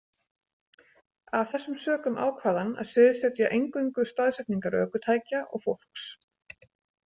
Af þessum sökum ákvað hann að sviðsetja eingöngu staðsetningar ökutækja og fólks.